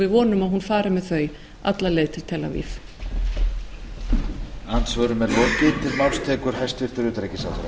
við vonum að hún fari með þau alla leið til tel aviv